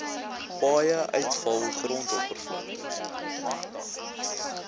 paaie uitvalgrond oppervlakte